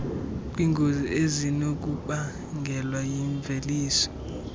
kwiingozi ezinokubangelwa yimveliso